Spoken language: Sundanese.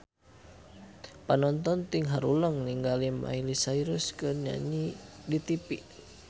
Panonton ting haruleng ningali Miley Cyrus keur nyanyi di tipi